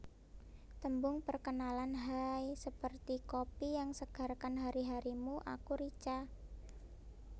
Tembung Perkenalan Haaaaiii seperti kopi yang segarkan hari harimu aku Rica